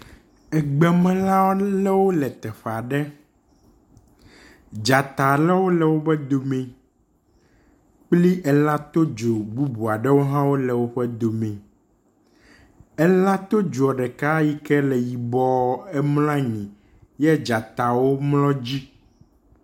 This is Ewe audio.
Egbemelã alewo le teƒe aɖe, dzata alewo le woƒe dome, kpli elã todzo bubu aɖewo hã le wobe dome. Elã todzo ɖeka yike le yibɔɔ emlɔ anyi ye dzatawo womlɔ dzi.